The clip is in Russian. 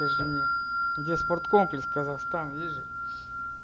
скажи мне где спорткомплекс казахстан есть же